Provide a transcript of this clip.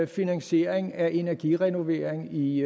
finansiering af energirenovering i